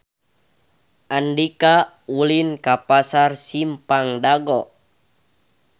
Andika ulin ka Pasar Simpang Dago